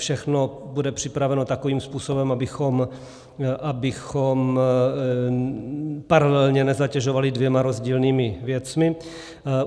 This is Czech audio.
Všechno bude připraveno takovým způsobem, abychom paralelně nezatěžovali dvěma rozdílnými věcmi.